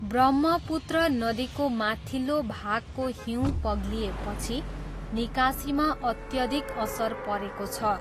ब्रह्मपुत्र नदीको माथिल्लो भागको हिउँ पग्लिएपछि निकासीमा अत्यधिक असर परेको छ।